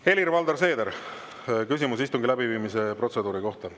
Helir-Valdor Seeder, küsimus istungi läbiviimise protseduuri kohta.